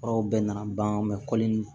Furaw bɛɛ nana ban kɔli in